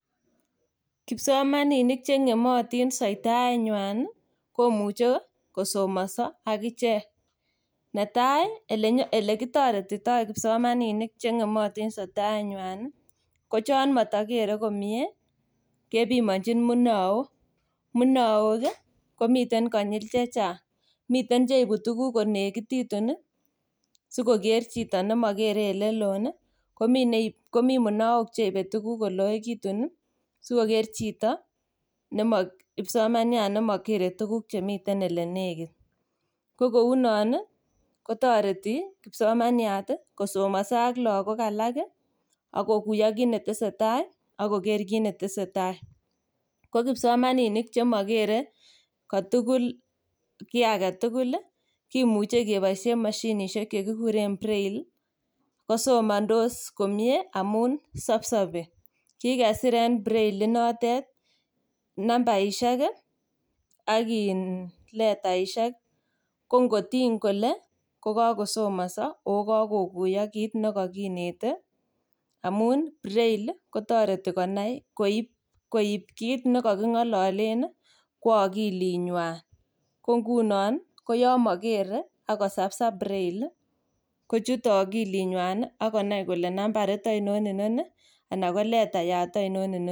Kipsomaninik cheng'emotin soitaenywan komuche kosomoso agichek. Netai ilenyol elekitoretito kipsomaninik cheng'emotin soitaenywan ii kochon mokere komie kepimonjin munook. Munook komiten konyil chechang', miten cheibu tuguk konekititun sikoker chito nemokere elelon ii, komi neibe komi munook cheibe koloekitun ii sikoker chito nemo kipsomaniat nemokere tuguk chemiten elenekit. Ko kounon ii kotoreti kipsomaniat ii kosomoso ak logok alak ii ak kokuyo kit netesetai ak koker kit netesetai. Ko kipsomaninik chemogere kotugul kiagetugul ii kimuche keboisien moshinisiek chekikuren braille, kosomondos komie amun sob sobi. Kigesir en braille inotet nambaisiek ak letaisiek kongotiny kole kokosomoso ogo kokuyo kit nekokinete amun braille ii kotoreti konai koib kit nekoking'ololen kwo okilinywan. Kongunon yon mokere ak kosabsab braille kochute okilinywan ii ak konai kole nambarit oinon inoni anan ko letayat oinon inoni.